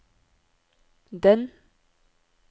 den